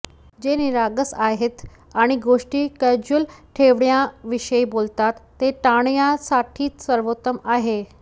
जे निरागस आहेत आणि गोष्टी कॅज्युअल ठेवण्याविषयी बोलतात ते टाळण्यासाठी सर्वोत्तम आहे